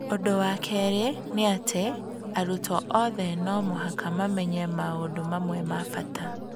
Ũndũ wa kerĩ nĩ atĩ, arutwo othe no mũhaka mamenye maũndũ mamwe ma bata.